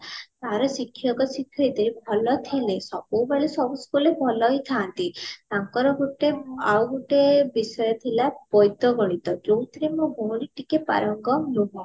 ଆଉ ଶିକ୍ଷକ ଶିକ୍ଷୟତ୍ରୀ ଭଲ ଥିଲେ ସବୁ ବେଳ ସବୁ school ରେ ଭଲ ହିଁ ଥାନ୍ତି ତାଙ୍କର ଗୋଟେ ଆଉ ଗୋଟେ ବିଷୟ ଥିଲା ବୈଦଗଣିତ ଯୋଉଥିରେ ମୋ ଭଉଣୀ ଟିକେ ପାରଙ୍ଗମ ନୁହଁ